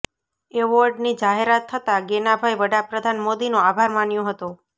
એવોર્ડની જાહેરાત થતાં ગેનાભાઈ વડા પ્રધાન મોદીનો આભાર માન્યો હતો